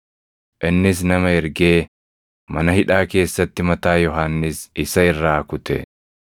innis nama ergee mana hidhaa keessatti mataa Yohannis isa irraa kute.